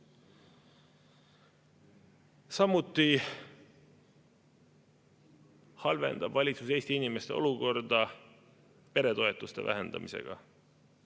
Samuti halvendab valitsus Eesti inimeste olukorda peretoetuste vähendamisega.